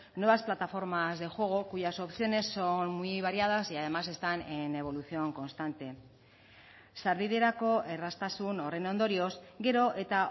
nuevas plataformas de juego cuyas opciones son muy variadas y además están en evolución constante sarbiderako erraztasun horren ondorioz gero eta